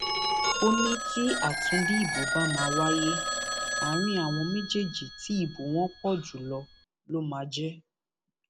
ó ní tí àtúndì ìbò bá máa wáyé àárín àwọn méjì tí ìbò wọn pọ jù lọ ló máa jẹ